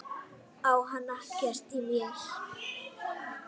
Lena lítur um öxl: Hvað?